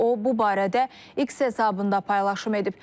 O bu barədə X hesabında paylaşım edib.